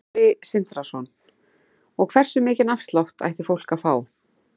Sindri Sindrason: Og hversu mikinn afslátt ætti fólk að fá?